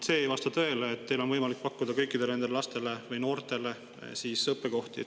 See ei vasta tõele, et teil on võimalik pakkuda kõikidele nendele lastele või noortele õppekohti.